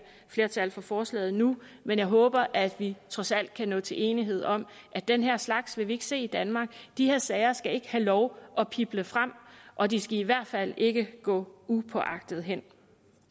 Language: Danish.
flertal for forslaget nu men jeg håber at vi trods alt kan nå til enighed om at den her slags vil vi ikke se i danmark de her sager skal ikke have lov at pible frem og de skal i hvert fald ikke gå upåagtet hen